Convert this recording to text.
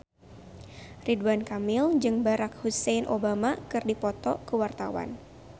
Ridwan Kamil jeung Barack Hussein Obama keur dipoto ku wartawan